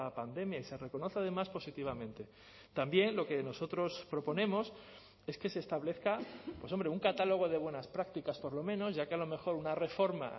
pandemia y se reconoce además positivamente también lo que nosotros proponemos es que se establezca pues hombre un catálogo de buenas prácticas por lo menos ya que a lo mejor una reforma